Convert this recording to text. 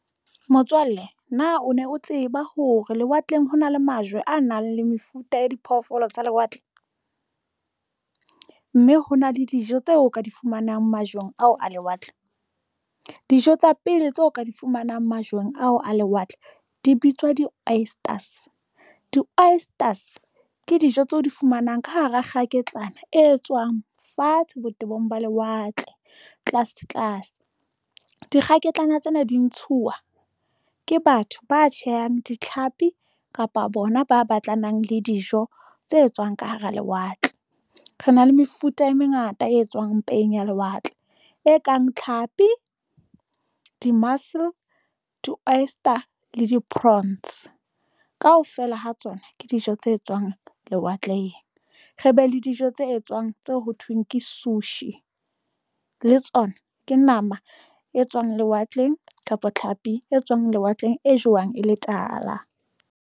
Motswalle na o ne o tseba hore lewatleng ho na le majwe a nang le mefuta ya diphoofolo tsa lewatle, mme hona le dijo tseo o ka di fumanang majweng ao a lewatle, dijo tsa pele tseo ka di fumanang majweng ao a lewatle di bitswa di-oysters, di-oysters ke dijo tseo di fumanang ka hara kgaketlan e tswang fatshe botebong ba lewatle tlase tlase. Dikgaketlana tsena di ntshuwa ke batho ba tjhehang ditlhapi kapa bona ba batlanang le dijo tse etswang ka hara lewatle re na le mefuta e mengata e tswang mpeng ya lewatle, e kang tlhapi di-oyster le di-prawns kaofela ha tsona ke dijo tse tswang lewatleng, re be le dijo tse etswang tseo ho thweng ke sushi le tsona ke nama e tswang lewatleng kapa tlhapi e tswang lewatleng e jwang e le tala.